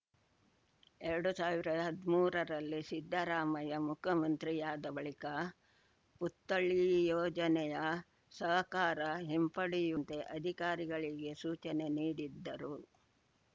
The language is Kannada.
ಎರಡು ಸಾವಿರದ ಹದಿಮೂರರಲ್ಲಿ ಸಿದ್ದರಾಮಯ್ಯ ಮುಖ್ಯಮಂತ್ರಿಯಾದ ಬಳಿಕ ಪುತ್ಥಳಿ ಯೋಜನೆಯ ಸಹಕಾರ ಹಿಂಪಡೆಯುವಂತೆ ಅಧಿಕಾರಿಗಳಿಗೆ ಸೂಚನೆ ನೀಡಿದ್ದರು